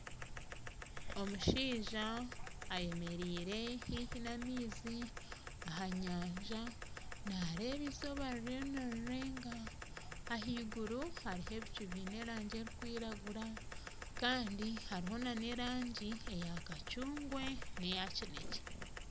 Omushaija ayemereire haihi n'amaizi aha nyanja naareeba izooba ririyo nirirenga ahaiguru hariho ebicu biine erangi erikwiragura kandi hariho n'erangi eya kacungwa neya kinekye.